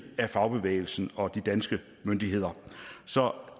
af fagbevægelsen og de danske myndigheder så